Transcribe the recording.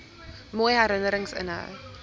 mooi herinnerings inhou